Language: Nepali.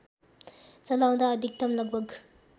चलाउँदा अधिकतम लगभग